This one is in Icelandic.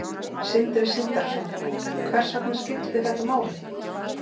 Sindri Sindrason: Hvers vegna skipti þetta máli?